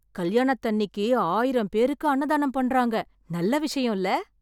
கல்யாணத்தன்னிக்கு ஆயிரம் பேருக்கு அன்னதானம் பண்றாங்க. நல்ல விஷயம் இல்ல.